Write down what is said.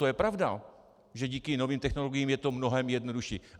To je pravda, že díky novým technologiím je to mnohem jednodušší.